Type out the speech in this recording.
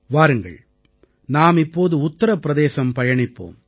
வாருங்கள் நாம் இப்போது உத்திரபிரதேசம் பயணிப்போம்